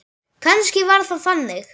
Kannski var það þannig.